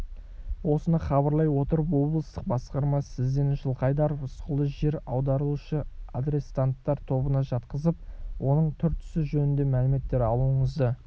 осыны хабарлай отырып облыстық басқарма сізден жылқайдаров рысқұлды жер аударылушы арестанттар тобына жатқызып оның түр-түсі жөнінде мәліметтер алуыңызды